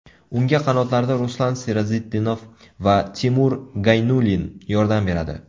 Unga qanotlarda Ruslan Serazitdinov va Timur Gaynulin yordam beradi.